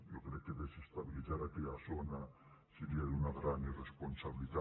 jo crec que desestabilitzar aquella zona seria d’una gran irresponsabilitat